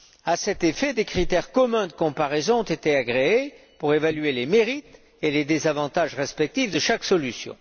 À cet effet, des critères communs de comparaison ont été agréés pour évaluer les mérites et les désavantages respectifs de chaque solution.